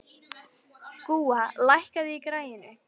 Gúa, lækkaðu í græjunum.